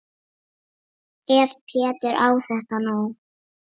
Ef Pétur á þetta nú.